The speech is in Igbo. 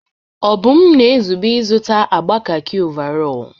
Obum na-ezube ịzụta agba kakị ọvarọọr.